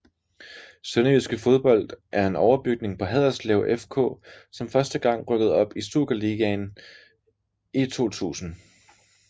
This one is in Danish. Sønderjyske Fodbold er er en overbygning på Haderslev FK som første gang rykkede op i Superligaen i 2000